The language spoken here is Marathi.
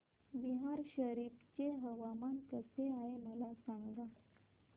बिहार शरीफ चे हवामान कसे आहे मला सांगा